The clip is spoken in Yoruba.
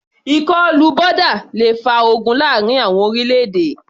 Ìkọlù boda le fa ogun láàrin àwọn orílẹ̀-èdè.